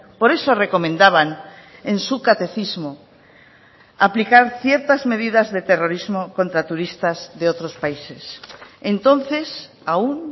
por eso recomendaban en su catecismo aplicar ciertas medidas de terrorismo contra turistas de otros países entonces aún